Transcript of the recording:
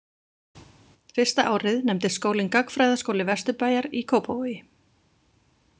Fyrsta árið nefndist skólinn „Gagnfræðaskóli Vesturbæjar í Kópavogi“.